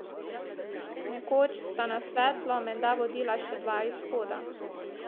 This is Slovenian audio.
Nekoč sta na svetlo menda vodila še dva izhoda.